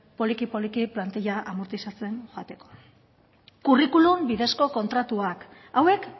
poliki poliki plantilla amortizatzen joateko curriculum bidezko kontratuak hauek